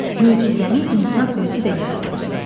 Möcüzəni insan özü də yarada bilər.